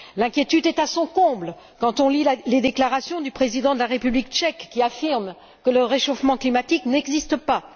L'inquiétude est à son comble quand on lit les déclarations du président de la République tchèque, qui affirme que le réchauffement climatique n'existe pas.